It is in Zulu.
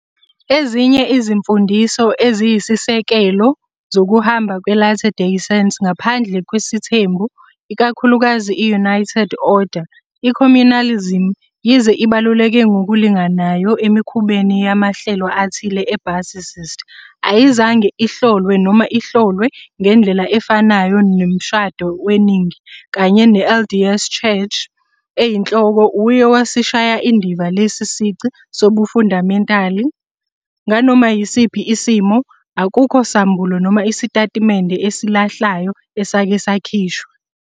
Ezinye izimfundiso eziyisisekelo zokuhamba kwe-Latter Day Saint ngaphandle kwesithembu, ikakhulukazi i- United Order, i-communalism, yize ibaluleke ngokulinganayo emikhubeni yamahlelo athile e-basicist, ayizange ihlolwe noma ihlolwe ngendlela efanayo nomshado weningi, kanye ne-LDS Church eyinhloko uye wasishaya indiva lesi sici sobufandamentali, nganoma yisiphi isimo, akukho sambulo noma isitatimende esilahlayo esake sakhishwa.